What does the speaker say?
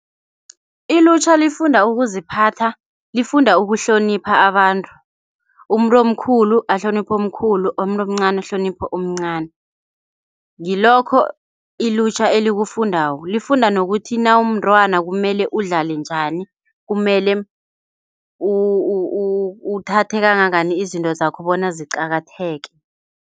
Ilutjha lifunda ukuziphatha. Lifunda ukuhlonipha abantu. Umuntu omkhulu ahloniphe omkhulu, umuntu omncani ahlonipho omncani. Ngilokho ilutjha elikufundako lifunda nokuthi nakumntwana kumele udlale njani. Kumele uthathe kangangani izinto zakho bona ziqakatheke.